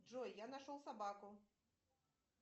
джой я нашел собаку